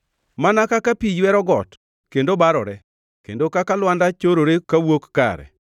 “Mana kaka pi ywero got kendo barore kendo kaka lwanda chorore kawuok kare,